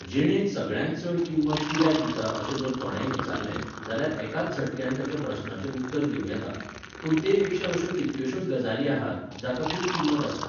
जिणेत सगळ्यांत चड किंमत कित्याक दिता अशें जर कोणेंय विचारलें, जाल्यार एकाच झटक्यान तेच्या प्रस्नाचें उत्तर दिवं येता. पूण तेपेक्षा अश्यो कितक्योशोच गजाली आहात, जाका खूब किंमत आसता